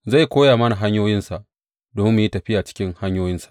Zai koya mana hanyoyinsa, domin mu yi tafiya cikin hanyoyinsa.